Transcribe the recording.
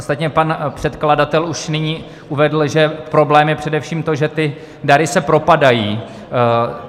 Ostatně pan předkladatel už nyní uvedl, že problém je především to, že ty dary se propadají.